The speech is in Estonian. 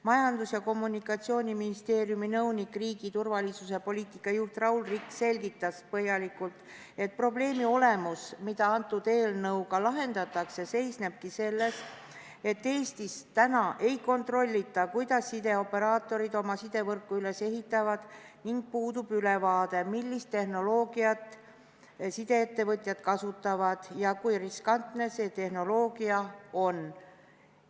Majandus- ja Kommunikatsiooniministeeriumi nõunik, riigi turvalisuse poliitika juht Raul Rikk selgitas põhjalikult, et probleemi olemus, mida selle eelnõuga lahendatakse, seisnebki selles, et Eestis täna ei kontrollita, kuidas sideoperaatorid oma sidevõrku üles ehitavad, ning puudub ülevaade, millist tehnoloogiat sideettevõtjad kasutavad ja kui riskantne see tehnoloogia on.